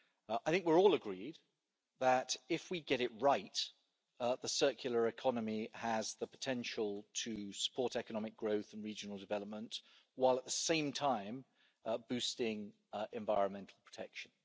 I think we're all agreed that, if we get it right, the circular economy has the potential to support economic growth and regional development, while at the same time boosting environmental protection.